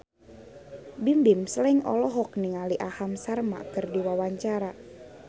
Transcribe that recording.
Bimbim Slank olohok ningali Aham Sharma keur diwawancara